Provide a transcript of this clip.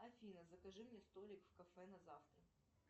афина закажи мне столик в кафе на завтра